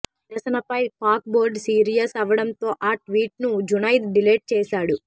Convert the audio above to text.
ఈ నిరసనపై Pak board serious అవ్వడంతో ఆ ట్వీట్ను జునైద్ డిలీట్ చేశాడు